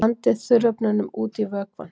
Blandið þurrefnunum út í vökvann.